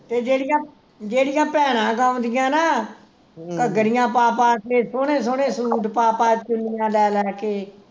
ਤੇ ਜਿਹੜੀਆਂ ਜਿਹੜੀਆਂ ਭੈਣਾ ਗਾਉਂਦਿਆਂ ਨਾ ਘੱਗਰੀਆਂ ਪਾ ਪਾ ਕੇ ਸੋਹਣੇ ਸੋਹਣੇ ਸੂਟ ਪਾ ਪਾ ਚੁੰਨੀਆਂ ਲੈ ਲੈ ਕੇ